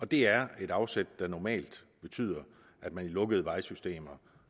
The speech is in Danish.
det er et afsæt der normalt betyder at man i lukkede vejsystemer